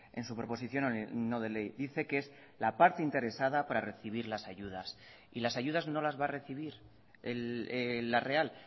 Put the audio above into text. en su proposición no de ley dice que es la parte interesada para recibir las ayudas y las ayudas no las va a recibir la real